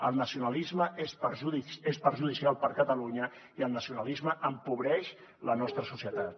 el nacionalisme és perjudicial per a catalunya i el nacionalisme empobreix la nostra societat